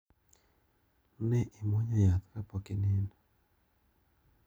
Ne imwonyo yath ka pok inindo.